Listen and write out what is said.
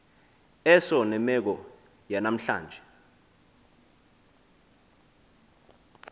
eso nemeko yanamhlanje